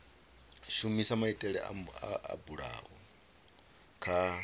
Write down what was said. shumisa maitele o bulwaho kha